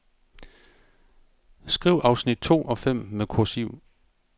Skriv afsnit to og fem med kursiv.